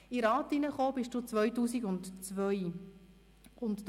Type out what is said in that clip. In den Grossen Rat tratst du 2002 ein.